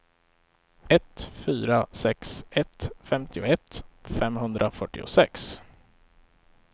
ett fyra sex ett femtioett femhundrafyrtiosex